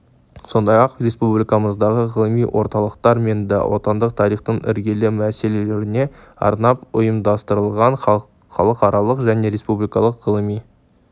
сондай-ақ республикамыздағы ғылыми орталықтар мен да отандық тарихтың іргелі мәселелеріне арнап ұйымдастырылған халықаралық және республикалық ғылыми